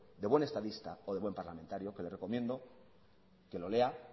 de buen estadista o de buen parlamentario que le recomiendo que lo lea